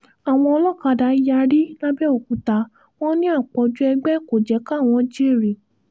àwọn olókàdá yarí làbẹ́òkúta wọn ní àpọ̀jù ẹgbẹ́ kò jẹ́ káwọn jèrè